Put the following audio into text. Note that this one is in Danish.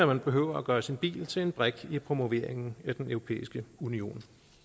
man behøver at gøre sin bil til en brik i promoveringen af den europæiske union